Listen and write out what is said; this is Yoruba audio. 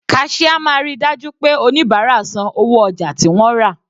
Cashier máa ríi dájú pé oníbárà san owó ojà tí wọ́n rà.